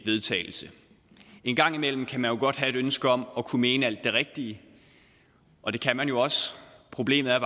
vedtagelse en gang imellem kan man jo godt have et ønske om at kunne mene alt det rigtige og det kan man jo også problemet er